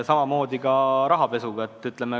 Samamoodi on rahapesuga.